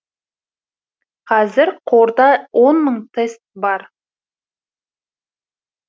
қазір қорда он мың тест бар